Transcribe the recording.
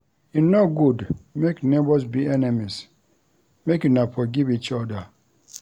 E no good make nebors be enemies, make una forgive each oda.